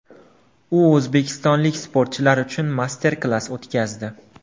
U o‘zbekistonlik sportchilar uchun master-klass o‘tkazdi.